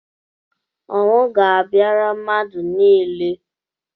Ọnwụ ga-abịara mmadụ niile.